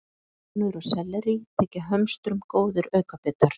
Melónur og sellerí þykja hömstrum góðir aukabitar.